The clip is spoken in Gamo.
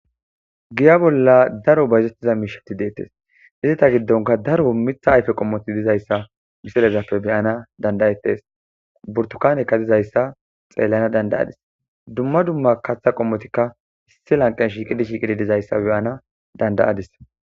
giya bolla daro bayzettiza miishati deettes izi ta giddonka daro mitha ayfe qommoti dizayssa misirezappe beyana dandayettes burtukanekka dizayssa xeellana dandayadis dumma dumma kaththa qommotikka issi lanqen shiiqidi shiiqidi dizayssa beyana dandayadis